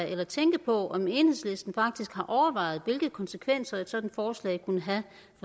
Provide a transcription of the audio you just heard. at tænke på om enhedslisten faktisk har overvejet hvilke konsekvenser et sådant forslag kunne have